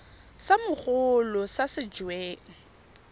sa mogolo sa se weng